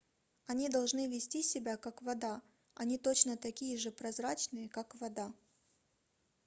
они должны вести себя как вода они точно такие же прозрачные как вода